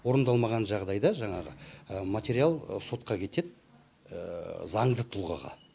орындалмаған жағдайда жаңағы материал сотқа кетеді заңды тұлғаға